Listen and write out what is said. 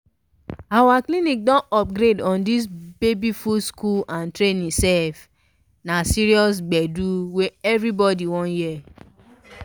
our clinics don upgrade on this baby food school and training sef. na serious gbedu wey everybody wan hear.